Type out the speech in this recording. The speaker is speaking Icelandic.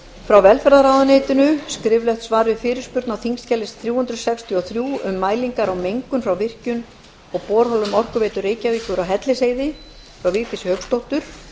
frá velferðarráðuneytinu skriflegt svar við fyrirspurn á þingskjali þrjú hundruð sextíu og þrjú um mælingar á mengun frá virkjun frá borholum orkuveitu reykjavíkur á hellisheiði frá vigdísi hauksdóttur